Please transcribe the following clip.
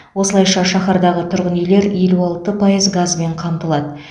осылайша шаһардағы тұрғын үйлер елу алты пайыз газбен қамтылады